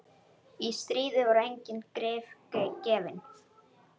Í stríði voru engin grið gefin.